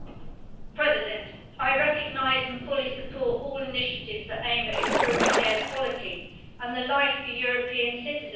Mr President, I recognise and fully support all initiatives that aim at improving air quality and life for European citizens.